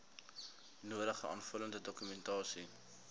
nodige aanvullende dokumentasie